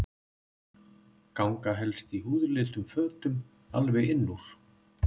Ganga helst í húðlituðum fötum alveg inn úr.